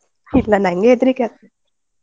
ಇಲ್ಲ ನಂಗ್ ಹೆದ್ರಿಕೆ ಆಗ್ತದೆ.